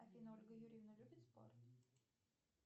афина ольга юрьевна любит спорт